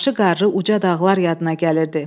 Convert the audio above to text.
Başı qarlı uca dağlar yadına gəlirdi.